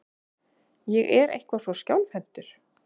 Ég er eitthvað svo skjálfhentur.